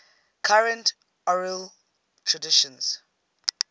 current oral traditions